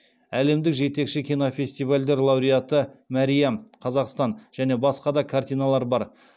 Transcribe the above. әлемдік жетекші кинофестивальдер лауреаты мәриам және басқа да картиналар бар